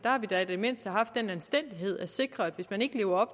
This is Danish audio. i det mindste har haft den anstændighed at sikre at hvis man ikke lever